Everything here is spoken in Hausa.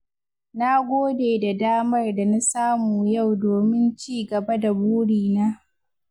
Na gode da damar da na samu yau domin cigaba da burina.